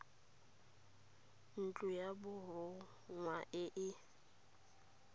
ntlo ya borongwa e e